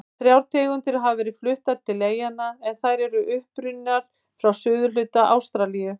Þrjár tegundir hafa verið fluttar til eyjanna en þær eru upprunnar frá suðurhluta Ástralíu.